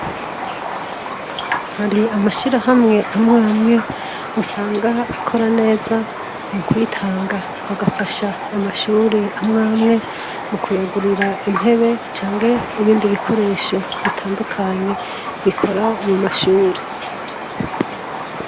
Hari amashirahamwe amwamwe usanga akora kumwe mukwitanga nko mugufasha amashuri amwamwe nko kuyagurira intebe canke ibindi bikoresho bitandukanye bikora mumashure